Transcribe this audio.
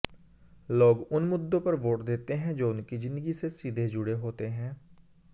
लोग उन मुद्दों पर वोट देते हैं जो उनकी जिंदगी से सीधे जुड़े होते हैं